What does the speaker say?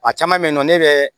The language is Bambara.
A caman bɛ yen nɔ ne bɛ